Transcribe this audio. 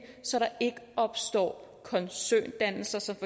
så der ikke opstår koncerndannelser som